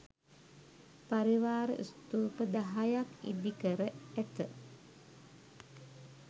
පරිවාර ස්තූප දහයක් ඉදි කර ඇත.